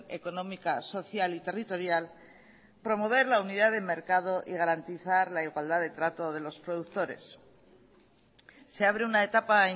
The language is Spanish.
económica social y territorial promover la unidad de mercado y garantizar la igualdad de trato de los productores se abre una etapa